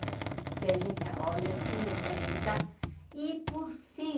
Porque a gente olha se, meu pai escutar, e por fim,